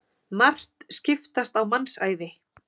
Margt skipast á mannsævi.